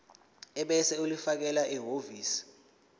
ebese ulifakela ehhovisi